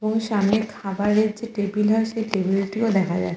এবং সামনে খাবার এর একটি টেবিল আছে টেবিল টিও দেখা যাচ্ছে।